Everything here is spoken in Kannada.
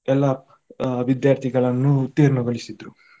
ಎಲ್ಲ ಆ ವಿದ್ಯಾರ್ಥಿಗಳನ್ನು ಉತ್ತೀರ್ಣಗೊಳಿಸಿದ್ರು.